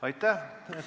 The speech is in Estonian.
Aitäh!